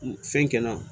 Fɛn kɛ n na